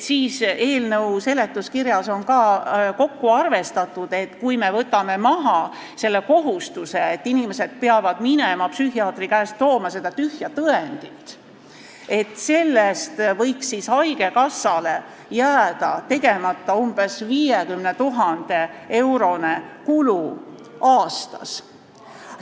Eelnõu seletuskirjas on kokku arvestatud, et kui me võtame maha selle kohustuse, et inimesed peavad minema psühhiaatri käest seda tühja tõendit tooma, siis võiks haigekassal jääda tegemata umbes 50 000 euro suurune kulu aastas.